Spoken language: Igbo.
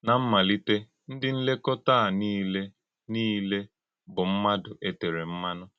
Ná mmálítè, ndí nlékọ́tà à niile niile bụ́ ḿmádụ́ e tèrè mmanụ̀.